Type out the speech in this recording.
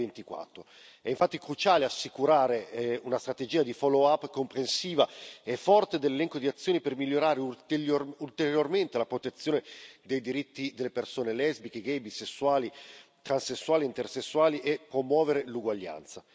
2024. È infatti cruciale assicurare una strategia di follow up comprensiva e forte dell'elenco di azioni per migliorare ulteriormente la protezione dei diritti delle persone lesbiche, gay, bisessuali, transessuali e intersessuali, e promuovere l'uguaglianza.